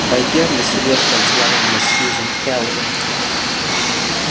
байерли серьёзно взглянул на сьюзен кэлвин